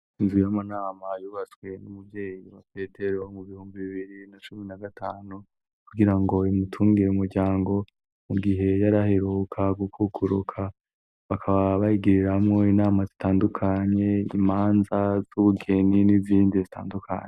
Inzu y'amanama yubatswe n'umuvyeyi wa Petero mu bihumbi bibiri na cumi na gatanu kugira ngo imutungire umuryango mu gihe yaraheruka gukukuruka bakaba bayigiriramwo inama zitandukanye, imanza z'ubugeni n'izindi zitandukanye.